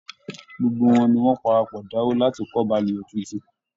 Gbogbo wọn ni wọ́n parapọ̀ dáwó láti kọ́ baluwẹ̀ tuntun